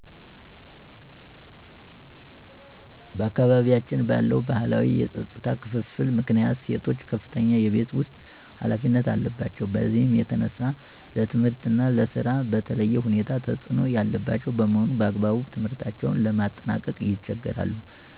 በአካባቢያችን ባለው ባህላዊ የፆታ ክፍፍል ምክንያት ሴቶች ከፍተኛ የቤት ውስጥ ኃላፊነት አለባቸው። በዚህም የተነሳ ለትምህርት እና ለስራ በተለየ ሁኔታ ተፅዕኖ ያለባቸው በመሆኑ በአግባቡ ትምህርታቸውን ለማጠናቀቅ ይቸገራሉ።